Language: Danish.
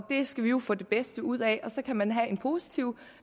det skal vi jo få det bedste ud af og så kan man have en positiv